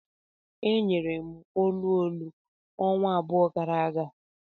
E nyere m olu olu ọnwa abụọ gara aga.